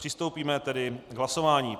Přistoupíme tedy k hlasování.